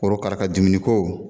Korokara ka dumuni ko.